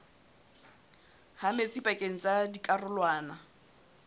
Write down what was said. ha metsi pakeng tsa dikarolwana